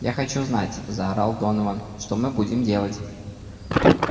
я хочу знать заорал донован что мы будем делать